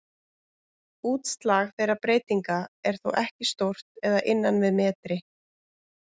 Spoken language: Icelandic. Útslag þeirra breytinga er þó ekki stórt eða innan við metri.